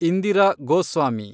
Indira Goswami